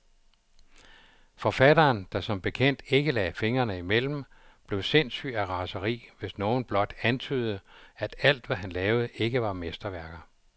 Forfatteren, der som bekendt ikke lagde fingrene imellem, blev sindssyg af raseri, hvis nogen blot antydede, at alt, hvad han lavede, ikke var mesterværker.